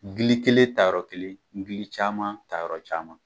Gili kelen tayɔrɔ kelen gili caman tayɔrɔ caman